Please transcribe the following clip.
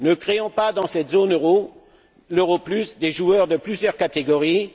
Ne créons pas dans cette zone euro l'europlus des joueurs de plusieurs catégories.